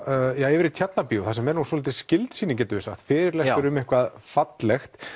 yfir í Tjarnarbíó þar sem er svolítið skyld sýning getum við sagt fyrirlestur um eitthvað fallegt